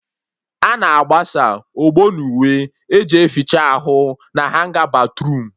A na-agbasa ogbo n'uwe eji eficha ahụ na hanga batruum